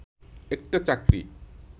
একটা চাকরি